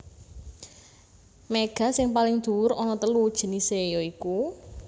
Méga sing paling dhuwur ana telu jinisé ya iku